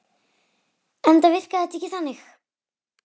Enda virkaði þetta ekki þannig.